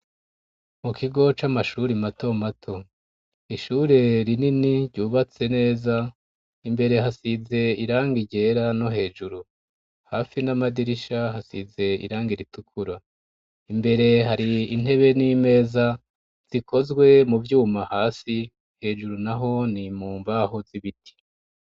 Mu kigo c'amashuri mato mato ishure rinini ryubatse neza imbere hasize iranga igera no hejuru hafi n'amadirisha hasize iranga iritukuro imbere hari intebe n'imeza zikozwe mu byuma hasi hejuru naho ni mumbaho z'ibiti.